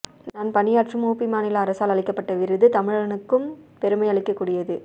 நான் பணியாற்றும் உபி மாநில அரசால் அளிக்கப்பட்ட விருது தமிழனுக்கும் பெருமை அளிக்கக் கூடியது